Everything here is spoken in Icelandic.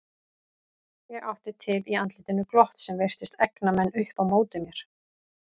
Ég átti til í andlitinu glott sem virtist egna menn upp á móti mér.